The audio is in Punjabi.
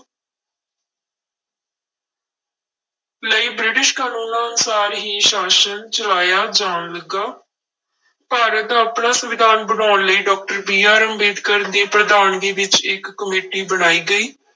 ਲਈ ਬ੍ਰਿਟਿਸ਼ ਕਾਨੂੰਨਾਂ ਅਨੁਸਾਰ ਹੀ ਸ਼ਾਸ਼ਨ ਚਲਾਇਆ ਜਾਣ ਲੱਗਾ ਭਾਰਤ ਦਾ ਆਪਣਾ ਸੰਵਿਧਾਨ ਬਣਾਉਣ ਲਈ doctor BR ਅੰਬੇਦਕਰ ਦੀ ਪ੍ਰਧਾਨਗੀ ਵਿੱਚ ਇੱਕ ਕਮੇਟੀ ਬਣਾਈ ਗਈ।